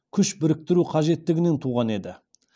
күш біріктіру қажеттігінен туған еді